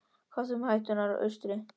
Hvað þá um hættuna úr austri?